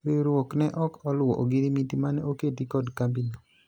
riwruok ne ok oluwo ogirimiti mane oketi kod kambi no